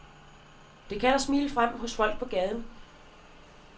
Den kalder smilet frem hos folk på gaden.